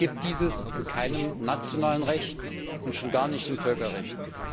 Es gibt dieses in keinem nationalen Recht und schon gar nicht im Völkerrecht.